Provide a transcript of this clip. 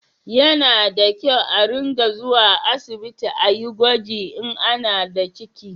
Ya na da kyau a ringa zuwa asibiti a yi gwaji in ana da ciki